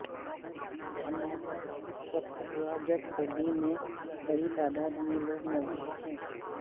دھماکہ اس وقت ہوا جب گلی میں بڑی تعداد میں لوگ موجود تھے